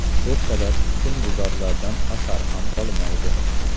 Ertalab husnbuzarlardan asar ham qolmaydi.